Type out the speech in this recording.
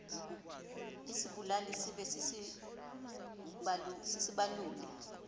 isibaluli sibe sisibaluli